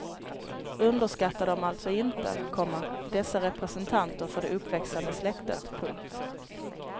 Underskatta dem alltså inte, komma dessa representanter för det uppväxande släktet. punkt